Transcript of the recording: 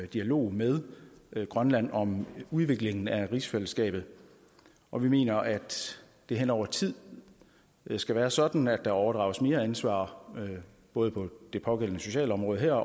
dialog med med grønland om udviklingen af rigsfællesskabet og vi mener at det hen over tid skal være sådan at der overdrages mere ansvar både på det pågældende sociale område her